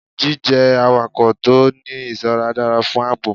Jí jẹ́ awakọ̀ tó ń ní ìṣọ́ra dára fún ààbò.